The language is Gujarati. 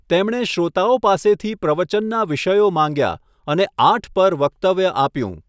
તેમણે શ્રોતાઓ પાસેથી પ્રવચનનાં વિષયો માંગ્યા અને આઠ પર વક્તવ્ય આપ્યું.